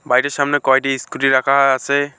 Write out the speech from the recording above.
বাড়িটির সামনে কয়টি ইস্কুটি রাখা আসে ।